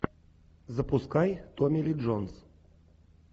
запускай томми ли джонс